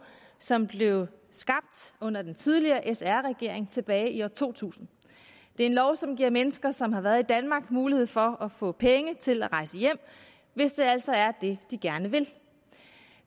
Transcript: som blev skabt under den tidligere sr regering tilbage i år to tusind det er en lov som giver mennesker som har været i danmark mulighed for at få penge til at rejse hjem hvis det altså er det de gerne vil